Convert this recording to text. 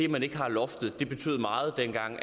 man ikke havde loftet betød meget dengang